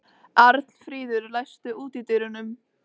Arnfríður, læstu útidyrunum.